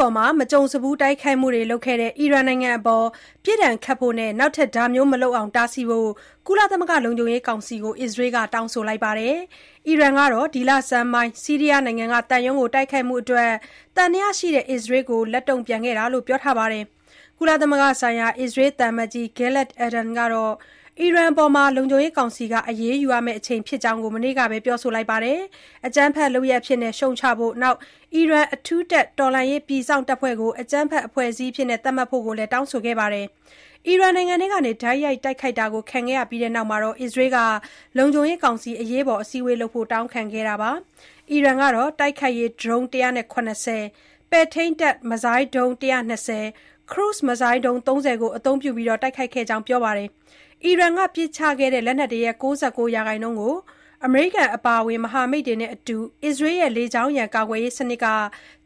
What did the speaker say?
ပေါ် မကြုံစဖူး တိုက်ခိုက်မှုတွေလုပ်ခဲ့တဲ့ အီရန်နိုင်ငံကို ပြစ်ဒဏ်ခတ်ဖို့နဲ့ နောက်ထပ်မလုပ်အောင် တားဆီးဖို့ ကုလသမဂ္ဂ လုံခြုံရေးကောင်စီကို အစ္စရေးက တောင်းဆိုလိုက်ပါတယ်။ အီရန်ကတော့ ဒီလဆန်းပိုင်း ဆီးရီးယားနိုင်ငံက သံရုံးကို တိုက်ခိုက်မှုအတွက် သံသယရှိတဲ့ အစ္စရေးကို လက်တုံ့ပြန်ခဲ့တာလို့ ပြောထားတာပါ။ ကုလသမဂ္ဂဆိုင်ရာ အစ္စရေးသံအမတ်ကြီး Gilad Erdan ကတော့ အီရန်အပေါ် လုံခြုံရေးကောင်စီက အရေးယူရမယ့် အချိန်ဖြစ်ကြောင်း မနေ့ကပဲ ပြောဆိုလိုက်ပြီး၊ အကြမ်းဖက်လုပ်ရပ်အဖြစ် ရှုတ်ချဖို့၊ အီရန်အထူးတပ် တော်လှန်ရေးပြည်စောင့်တပ်ဖွဲ့ကို အကြမ်းဖက်အဖွဲ့အစည်းအဖြစ် သတ်မှတ်ဖို့လည်း တောင်းဆိုခဲ့ပါတယ်။ အီရန်နိုင်ငံထဲကနေ တိုက်ရိုက်တိုက်ခိုက်တာ ခံခဲ့ရပြီးနောက် အစ္စရေးက လုံခြုံရေးကောင်စီ အရေးပေါ် အစည်းအဝေးလုပ်ဖို့ တောင်းခံခဲ့တာပါ။ အီရန်ကတော့ တိုက်ခိုက်ရေးဒရုန်း ၁၇၀၊ ပဲ့ထိန်းတပ်မစ်ဇိုင်းဒုံး ၁၂၀ နဲ့ ခရုဇ်မစ်ဇိုင်းဒုံး ၃၀ အသုံးပြုပြီး တိုက်ခိုက်ခဲ့ကြောင်း ပြောပါတယ်။ အီရန်က ပစ်ခတ်ခဲ့တဲ့ လက်နက်တွေရဲ့ ၉၉ ရာခိုင်နှုန်းကို အမေရိကန် အပါအဝင် မဟာမိတ်တွေနဲ့အတူ အစ္စရေးရဲ့ လေကြောင်းရန် ကာကွယ်ရေးစနစ်က